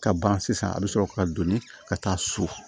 Ka ban sisan a bɛ sɔrɔ ka donni ka taa su